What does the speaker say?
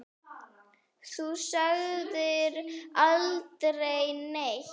Þú sagðir aldrei neitt.